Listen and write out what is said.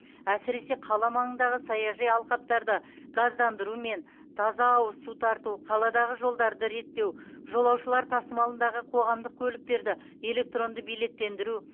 әсіресе қала маңындағы саяжай алқаптарды газдандыру мен таза ауыз су тарту қаладағы жолдарды реттеу жолаушылар тасымалындағы қоғамдық көліктерді электронды билеттендіру